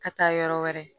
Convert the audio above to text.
Ka taa yɔrɔ wɛrɛ